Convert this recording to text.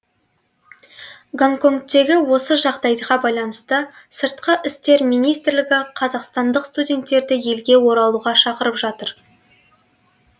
гонконгтегі осы жағдайға байланысты сыртқы істер министрлігі қазақстандық студенттерді елге оралуға шақырып отыр